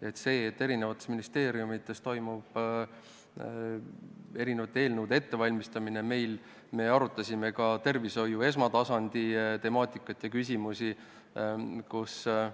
Mis puudutab seda, et eri ministeeriumides toimub erinevate eelnõude ettevalmistamine – me arutasime ka tervishoiu esmatasandi temaatikat, kohal